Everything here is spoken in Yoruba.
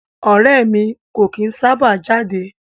Ọrẹ́ ẹ̀ mi kò kìí sábà jáde.